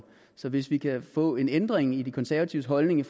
så hvis vi kan få en ændring i de konservatives holdning